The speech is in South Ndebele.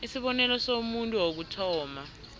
isibonelo somuntu wokuthoma